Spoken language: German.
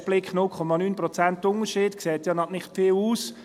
Auf den ersten Blick: 0,9 Prozent Unterschied, das sieht nach nicht viel aus.